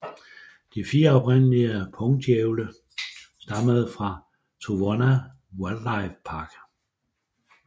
De fire oprindelige pungdjævle stammede fra Trowunna Wildlife Park